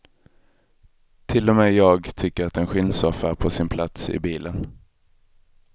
Till och med jag tycker att en skinnsoffa är på sin plats i bilen.